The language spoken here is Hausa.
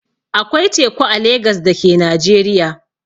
Akwai teku a Legas da ke Najeriya.